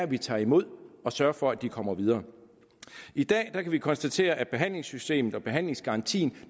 vi tager imod og sørger for at de kommer videre i dag kan vi konstatere at behandlingssystemet og behandlingsgarantien